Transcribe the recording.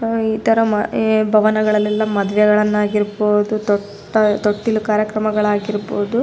ಆಹ್ಹ್ ಇತರ ಭವನ ಗಳಲೆಲ್ಲ ಮದುವೆಗಳನ್ನು ಆಗಿರ್ಬಹುದು ತೊಟ್ಟ ತೊಟ್ಟಿಲು ಕಾರ್ಯಕ್ರಮಗಳಾಗಿರಬಹುದು --